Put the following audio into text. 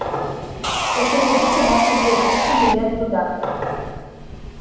если хотите можете приобрести билет туда